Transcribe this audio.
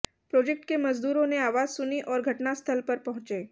project के मजदूरों ने आवाज सुनी और घटनास्थल पर पहुंचे